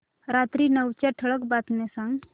रात्री नऊच्या ठळक बातम्या सांग